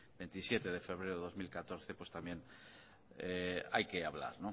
veintisiete de febrero de dos mil catorce pues también hay que hablar